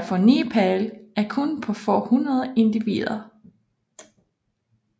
for Nepal er kun på få hundrede individer